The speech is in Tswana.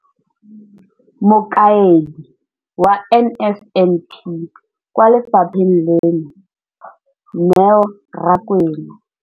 Mokaedi wa NSNP kwa lefapheng leno, Neo Rakwena.